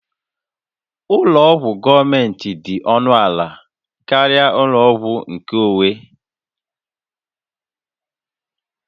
Ụlọ ọgwụ gọọmentị dị ọnụ ala karịa ụlọ ọgwụ nkeonwe